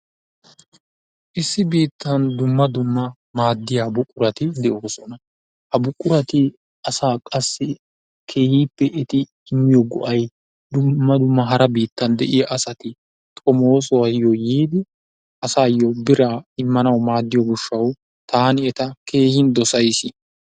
Issi biittan dumma dumma maadiyaa buquratti de'osonna. Ha buquratti asa qassi keehippe etti immiyoo ga'ay dumma dumma hara biittan de'iyaa asatti xomosuwayo yiidi asayo birraa immanayo maadiyo gishshawu tani ettaa kehin dosayis.